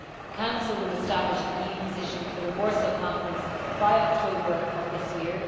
The Council will establish the EU position for the Warsaw conference by October of this year.